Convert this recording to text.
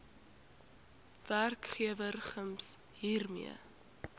werkgewer gems hiermee